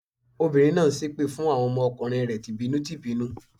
Obìnrin náà ń ṣépè fún àwọn ọmọ kùnrin rẹ̀ tì bínú tì bínú.